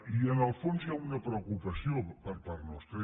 i en el fons hi ha una preocupació per part nostra